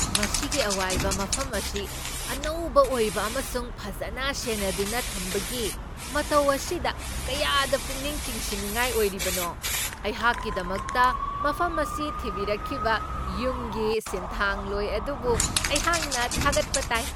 ꯃꯁꯤꯒꯤ ꯑꯋꯥꯏꯕ ꯃꯐꯝ ꯑꯁꯤ ꯑꯅꯧꯕ ꯑꯣꯏꯕ ꯑꯃꯁꯨꯡ ꯐꯖꯅ ꯁꯦꯟꯅꯗꯨꯅ ꯊꯝꯕꯒꯤ ꯃꯇꯧ ꯑꯁꯤꯗ ꯀꯌꯥꯗ ꯄꯨꯛꯅꯤꯡ ꯆꯤꯡꯁꯤꯟꯅꯤꯡꯉꯥꯏ ꯑꯣꯏꯔꯤꯕꯅꯣ ! ꯑꯩꯍꯥꯛꯀꯤꯗꯃꯛꯇ ꯃꯐꯝ ꯑꯁꯤ ꯊꯤꯕꯤꯔꯛꯈꯤꯕ ꯌꯨꯝꯒꯤ ꯁꯤꯟꯊꯥꯡꯂꯣꯏ ꯑꯗꯨꯕꯨ ꯑꯩꯍꯥꯛꯅ ꯊꯥꯒꯠꯄ ꯇꯥꯏ ꯫